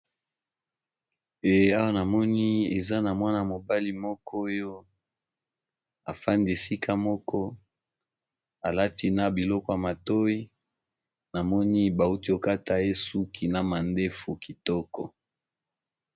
Awa namoni eza na mwana mobali afandi esika moko alati na biloko ya matoyi bauti kokata ye suki na mandefu kitoko.